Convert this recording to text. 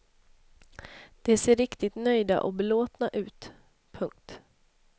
De ser riktigt nöjda och belåtna ut. punkt